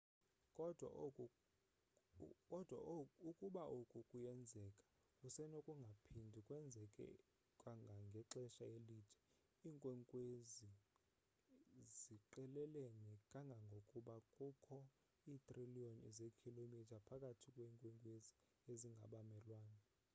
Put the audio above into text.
kodwa ukuba oku kuyenzeka kusenokungaphindi kwenzeke kangangexesha elide iinkwenkwezi ziqelelene kangangokuba kukho iitriliyoni zeekhilomitha phakathi kweenkwezi ezingabamelwane